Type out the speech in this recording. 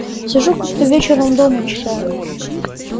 сижу как-то вечером дома читаю